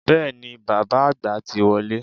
Bẹ́ẹ̀ni, bàbá àgbà ti wọlé